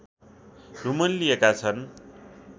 रुमल्लिएका छन्